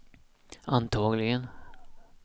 antagligen